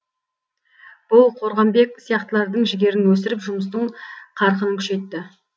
бұл қорғамбек сияқтылардың жігерін өсіріп жұмыстың қарқынын күшейтті